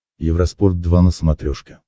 евроспорт два на смотрешке